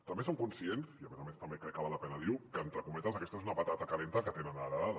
també som conscients i a més a més també crec que val la pena dir ho que entre cometes aquesta és una patata calenta que tenen heretada